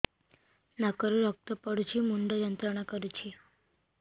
ନାକ ରୁ ରକ୍ତ ପଡ଼ୁଛି ମୁଣ୍ଡ ଯନ୍ତ୍ରଣା କରୁଛି